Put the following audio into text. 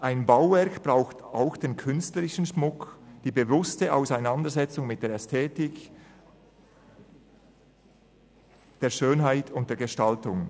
Ein Bauwerk braucht auch den künstlerischen Schmuck, die bewusste Auseinandersetzung mit der Ästhetik, der Schönheit und der Gestaltung.